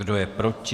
Kdo je proti?